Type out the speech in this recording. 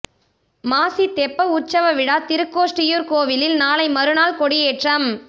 மாசி தெப்ப உற்சவ விழா திருக்கோஷ்டியூர் கோயிலில் நாளை மறுநாள் கொடியேற்றம்